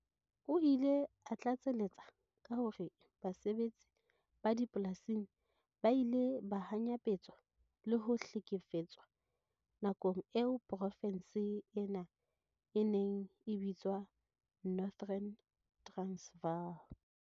O ile a tlatsaletsa ka hore basebetsi ba dipolasing ba ile ba hanyapetswa le ho hle-kefetswa nakong eo profense ena e neng e bitswa Northern Transvaal.